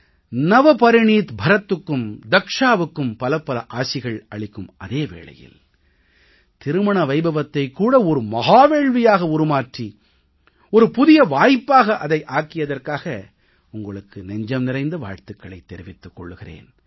நவபரிணீத் பரத்துக்கும் தக்ஷாவுக்கும் பலப்பல ஆசிகள் அளிக்கும் அதே வேளையில் திருமண வைபவத்தைக் கூட ஒரு மஹா வேள்வியாக உருமாற்றி ஒரு புதிய வாய்ப்பாக அதை ஆக்கியதற்காக உங்களுக்கு நெஞ்சம் நிறைந்த வாழ்த்துக்களைத் தெரிவித்துக் கொள்கிறேன்